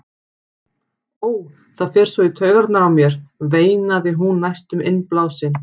Ó, það fer svo í taugarnar á mér, veinaði hún næstum innblásin.